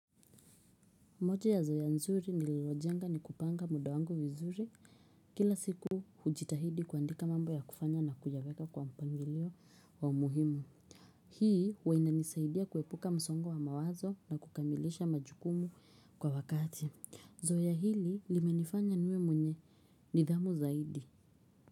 Moja ya zoea nzuri nililojenga ni kupanga muda wangu vizuri, kila siku hujitahidi kuandika mambo ya kufanya na kuyaweka kwa mpangilio wa umuhimu. Hii, huwa inanisaidia kuepuka msongo wa mawazo na kukamilisha majukumu kwa wakati. Zoea hili limenifanya niwe mwenye nidhamu zaidi.